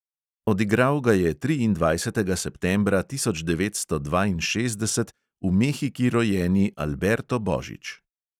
Odigral ga je triindvajsetega septembra tisoč devetsto dvainšestdeset v mehiki rojeni alberto božič.